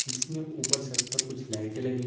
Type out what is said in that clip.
जिसमें ऊपर छत पर कुछ लाइटें लगी हुई--